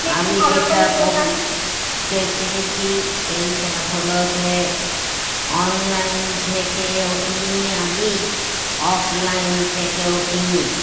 আমি যেটা বলতে চেয়েছি সেটা হল যে online থেকেও কিনি আমি offline থেকেও কিনি